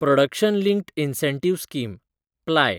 production linked incentive scheme (ply)